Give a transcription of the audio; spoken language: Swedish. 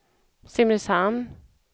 Simrishamn